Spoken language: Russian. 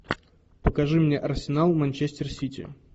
покажи мне арсенал манчестер сити